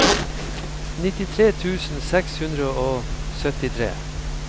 nittitre tusen seks hundre og syttitre